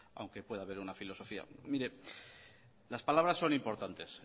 aunque puede haber una filosofía mire las palabras son importantes